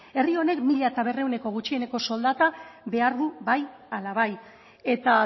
herri honek mila berrehuneko gutxieneko soldata behar du bai ala bai eta